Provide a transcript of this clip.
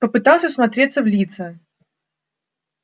попытался всмотреться в лица